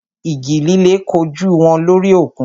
Ìjì líle kojú wọn lórí òkun.